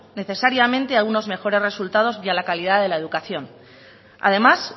necesariamente a unos mejores resultados ni a la calidad de la educación además